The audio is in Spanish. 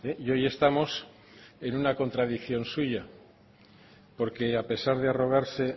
y hoy estamos en una contradicción suya porque a pesar de arrogarse